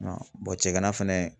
cɛgana fɛnɛ.